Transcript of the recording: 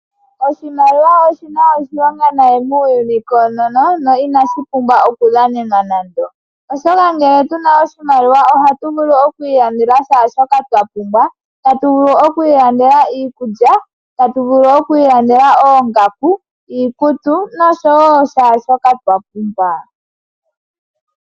Oshimaliwa oshina oshilonga nayi muuyuni koonono no inashipumbwa Oku dhanenwa nande. Oshoka ngele tuna oshimaliwa ohatu vulu oku ilandela shaashoka twa pumbwa. Tatu vulu oku ilandela iikulya ,oongaku, tatu vulu oku ilandela iikutu nosho woo shaashoka twa pumbwa.